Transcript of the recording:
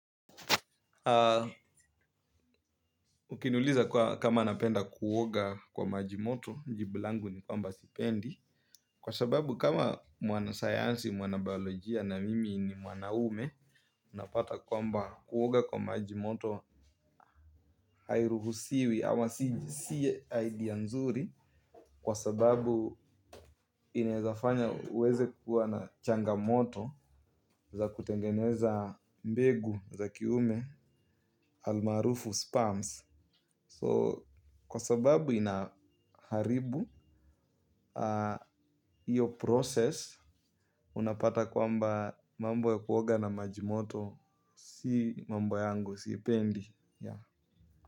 Ukiniuliza kama napenda kuoga kwa maji moto, jibu langu ni kwamba sipendi. Kwa sababu kama mwanasayansi, mwana biolojia na mimi ni mwanaume, unapata kwamba kuoga kwa maji moto, airuhusiwi ama siye idea nzuri. Kwa sababu inezafanya uweze kuwa na changamoto za kutengeneza mbegu za kiume almarufu sperms. So kwa sababu inaharibu iyo process unapata kwamba mambo ya kuoga na maji moto si mambo yangu, siipendi.